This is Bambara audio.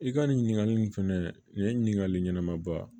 I ka nin ɲininkali in fɛnɛ nin ye ɲininkali ɲɛnama ba